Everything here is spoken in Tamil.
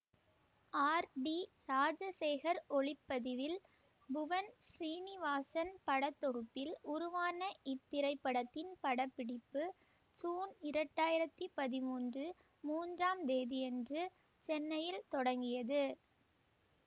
ஆர் டி ராஜசேகர் ஒளிப்பதிவில் புவன் ஸ்ரீநிவாசன் படத்தொகுப்பில் உருவான இத்திரைப்படத்தின் படப்பிடிப்பு சூன் இரண்டு ஆயிரத்தி பதிமூன்று மூன்றாம் தேதியன்று சென்னையில் தொடங்கியது